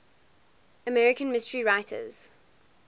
american mystery writers